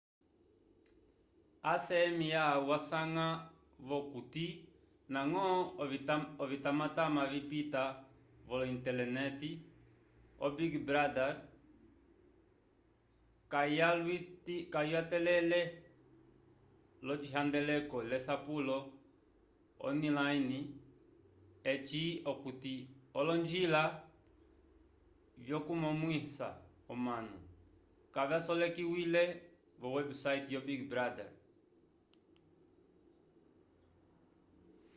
acma wasanga-vo okuti ndañgo ovimatamata vipita vo-intelenete o-big brother kayalyatele l'ocihandeleko lesapulo onilayne eci okuti olonjila vyokukonomwisa omanu kavyasolekiwile vo websayte yo big brother